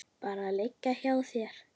Bara liggja hjá þér.